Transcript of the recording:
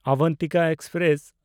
Avantika express